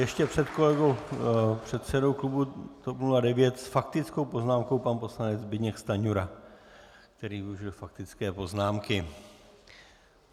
Ještě před kolegou předsedou klubu TOP 09 s faktickou poznámkou pan poslanec Zbyněk Stanjura, který využil faktické poznámky.